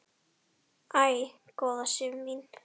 Æ, góða Sif mín!